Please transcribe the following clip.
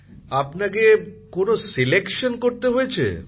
প্রধানমন্ত্রী জীঃ আপনাকে কিভাবে বাছাই করতে হয়েছে